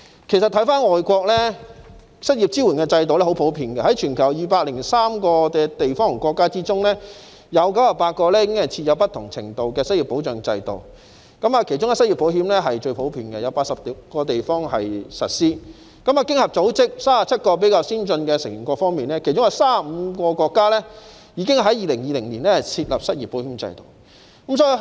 其實在外國，失業支援制度相當普遍，在全球203個地方和國家中，有98個已經設有不同程度的失業保障制度，其中失業保險最為普遍，有80個地方實施；在經濟合作與發展組織37個比較先進的成員國中，有35個國家已於2020年設立失業保險制度。